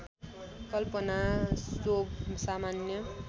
कल्पना सोव सामान्य